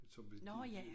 Som betyde